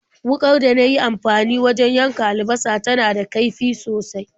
Wuƙar da na yi amfani wajen yanka albasa tana da kaifi sosai.